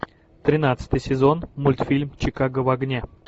тринадцатый сезон мультфильм чикаго в огне